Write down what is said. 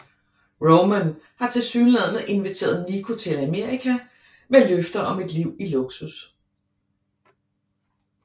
Roman har tilsyneladende inviteret Niko til Amerika med løfter om et liv i luksus